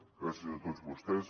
gràcies a tots vostès